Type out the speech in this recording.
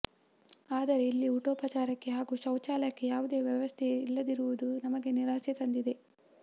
ಆದರೆ ಇಲ್ಲಿ ಊಟೋಪಚಾರಕ್ಕೆ ಹಾಗೂ ಶೌಚಾಲಯಕ್ಕೆ ಯಾವುದೇ ವ್ಯವಸ್ಥೆಯಿಲ್ಲದಿರುವುದು ನಮಗೆ ನಿರಾಸೆ ತಂದಿದೆ